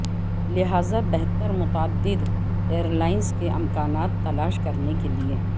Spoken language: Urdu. لہذا بہتر متعدد ایئر لائنز کے امکانات تلاش کرنے کے لئے